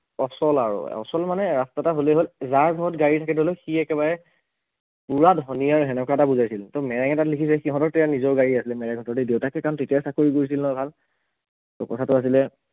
অচল আৰু, অচল মানে ৰাস্তা এটা হলে হল, যাৰ ঘৰত গাড়ী থাকে ধৰি লওক সি একেবাৰে পোৰা ধনী আৰু সেনেকুৱা এটা বুজাইছিল ত মেৰেঙে তাত লিখিছে সিহঁতৰ তেতিয়া নিজৰ গাড়ী আছিলে মেৰেঙহঁতৰ দেই দেউতাক সেইকাৰণ তেতিয়া চাকৰি কৰিছিল নহয় ভাল, ত কথাটো আছিলে